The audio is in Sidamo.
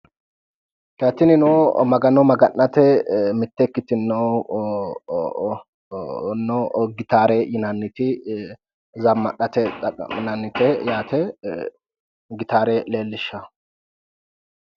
Tinino Magano maga'nate ikkitino gitaare yinanniti zammadhate xaqqa'minannite yaate. gitaare leellishawo.